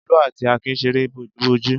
Olú àti Akin ṣeré bojúbojú.